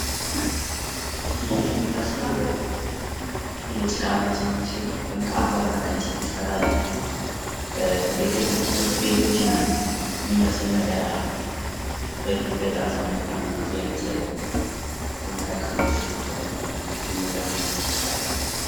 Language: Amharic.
ይሄ የሚመስለው ከጭቃ የተሰራ ቤት ሲሆን የመማሪያ ክፍሎች ናቸው። በፊት በንደዚህ አይነት ክፍሎች ተምረናል።